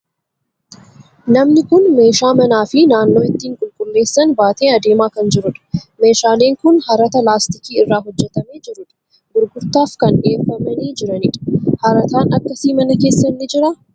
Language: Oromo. Namni kun meeshaa manaa fi naannoo ittiin qulqulleessan baatee adeemaa kan jiru dha. Meeshaalee kun harataa laastikii irraa hojjetamee jiru dha. Gurgurtaaf kan dhiyeeffamanii jirani dha. Harataan akkasii mana keessan ni jiraa?